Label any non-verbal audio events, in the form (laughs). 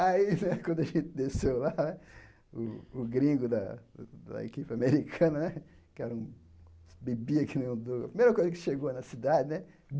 (laughs) aí né, quando a gente desceu lá, o o gringo da da equipe americana né, que era um bebia que nem um do, a primeira coisa que chegou na cidade, né?